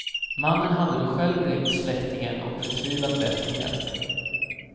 Mannen hade då själv ringt släktingen och förtvivlat bett om hjälp.